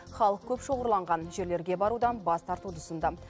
халық көп шоғырланған жерлерге барудан бас тартуды ұсынды